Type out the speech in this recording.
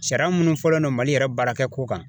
Sariya munnu fɔlen don mali yɛrɛ baarakɛ ko kan